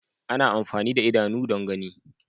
Ana amfani da idanu don gani.